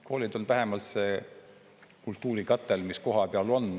Koolid on vähemalt see kultuurikatel, mis kohapeal on.